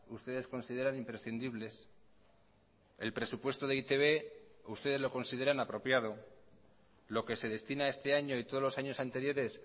ustedes consideran imprescindibles el presupuesto de e i te be ustedes lo consideran apropiado lo que se destina este año y todos los años anteriores